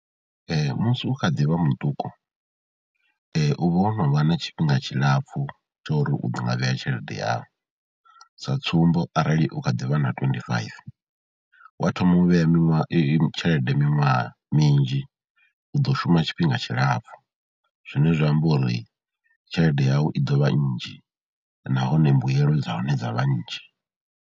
Musi u kha ḓi vha muṱuku u vha o no vha na tshifhinga tshilapfhu tsho uri u ḓo nga vhea tshelede yau, sa tsumbo arali u kha ḓi vha na twenty five, wa thoma u vhea miṅwaha, tshelede miṅwaha minzhi u ḓo shuma tshifhinga tshilapfhu zwine zwa amba uri tshelede yau i ḓo vha nnzhi nahone mbuyelo dza hone dza vha nnzhi.